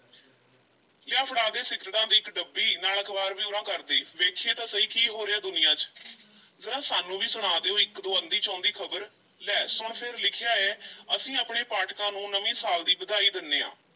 ਲਿਆ ਫੜਾ ਦੇ ਸਿਗਰਟਾਂ ਦੀ ਇੱਕ ਡੱਬੀ ਨਾਲ ਅਖ਼ਬਾਰ ਵੀ ਉਰਾਂ ਕਰ ਦੇਹ ਵੇਖੀਏ ਤਾਂ ਸਹੀ ਕੀ ਹੋ ਰਿਹੈ ਦੁਨੀਆ ਵਿੱਚ ਜ਼ਰਾ ਸਾਨੂੰ ਵੀ ਸੁਣਾ ਦਿਓ ਇੱਕ-ਦੋ ਅੰਧੀ-ਚੋਂਦੀ ਖ਼ਬਰ, ਲੈ ਸੁਣ ਫੇਰ ਲਿਖਿਆ ਐ ਅਸੀਂ ਆਪਣੇ ਪਾਠਕਾਂ ਨੂੰ ਨਵੇਂ ਸਾਲ ਦੀ ਵਧਾਈ ਦੇਂਦੇ ਹਾਂ।